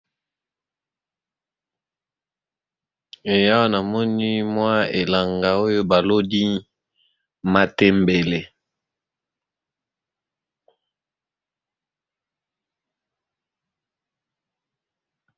Awa namoni mwa elanga oyo baloli matembele .